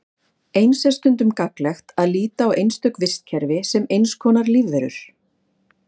Eins er stundum gagnlegt að líta á einstök vistkerfi sem eins konar lífverur.